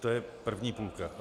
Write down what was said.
To je první půlka.